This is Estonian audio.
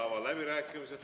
Avan läbirääkimised.